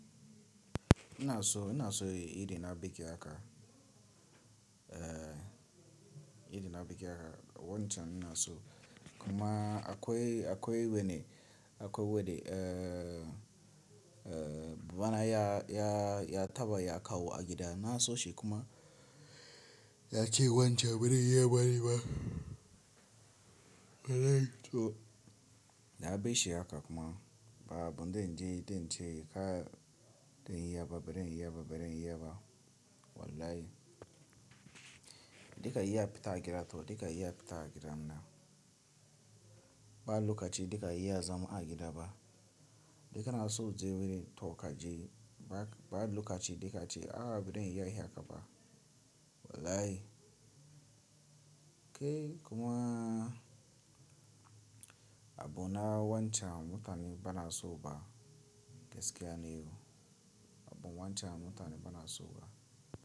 Ina so, ina so yi irina bikin haka, eh irina bikin haka. Wancan ina so kuma akwai, akwai wane, akwai wane, eh, eh babana ya, ya, ya taba ya kawo a gida. Na so shi kuma yake wancan bari in yi bari ba. Bari to na bi shi haka kuma ba abun da in je in ce ka, don in yi ba bari in yi ba bari in yi ba wallahi. Dika yi ya fita a gida to dika yi ya fita a gidan nan. Ba lokaci dika yi ya zama a gida ba. Kai na so je wani tokaje ba, ba lokaci dakace a bari in yi haka ba wallahi. Kai kuma abu na wancan mutane ba na so ba gaskiya ne. Abu wancan mutane ba na so ba.